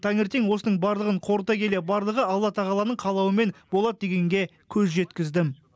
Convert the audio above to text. таңертең осының барлығын қорыта келе барлығы алла тағаланың қалауымен болады дегенге көз жеткіздім